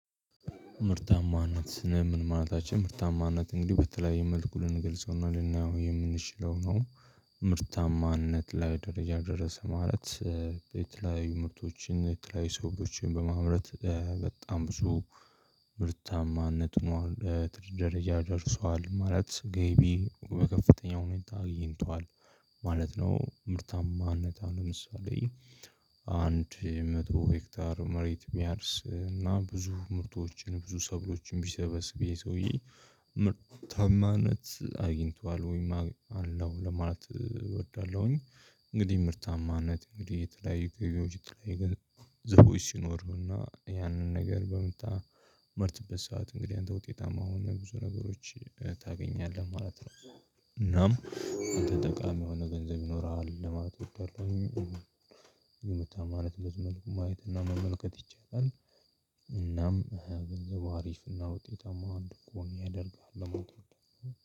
ምርታማነት ምን ማለታችን ምርታማነት እንግዲህ በተለያየ መልኩ ልንገልጸውና ልናያው የምንችለው ነው። ምርታማነት ላይ ደረጃ ደረሰ ማለት የተለያዩ ምርቶችን የተለያዩ ሰዎችን በማምረት በጣም ብዙ ምርታማነት ሆኗል ትልቅ ደረጃ ደርሷል ማለት ገቢ በከፍተኛ ሁኔታ አግኝቷል ማለት ነው። ምርታማነት አሁን ለምሳሌ አንድ መቶ ሄክታር መሬት የሚያርስ እና ብዙ ምርቶችን ብዙ ሰብሎችን ቢሰበስብ ይሄ ሰውዬ ምርታማነት አግኝቷል ወይም አለው ለማለት እወዳለሁኝ። እንግዲህ ምርታማነት እንግዲህ የተለያዩ ገቢዎች የተለያዩ ገንዘቦች ሲኖርህና ያንን ነገር በምታመርትበት ሰዓት እንግዲህ አንተ ውጤታማ የሆነ ብዙ ነገሮች ታገኛለህ ማለት ነው። እናም ጠቃሚ የሆነ ገንዘብ ይኖረዋል ለማለት ምርታማነትን በዚህ መልኩ ማየትና መመልከት ይቻላል። እናም ገንዘቡ አሪፍና ውጤታማ እንዲሆን ያደርጋል ለማለት እፈልጋለሁ።